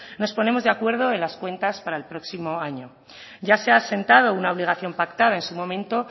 nos ponemos de acuerdo en las cuentas para el próximo año ya se ha sentado una obligación pactada en su momento